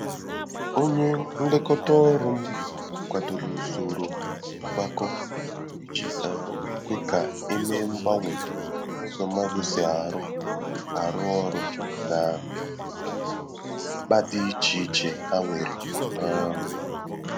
Onyé nlekọta ọrụ m kwàdòrò usoro ngwakọ iji um kwe ka e mee mgbanwe n’ụzọ mmadụ si arụ arụ ọrụ na mkpa dị iche iche ha nwere um